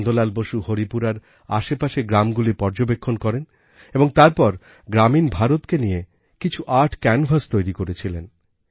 নন্দলাল বোস হরিপুরার আশেপাশের গ্রামগুলি পর্যবেক্ষণ করেন এবং তারপর গ্রামীণ ভারতকে নিয়ে কিছুআর্ট ক্যানভাস তৈরিকরেছিলেন